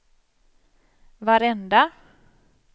varenda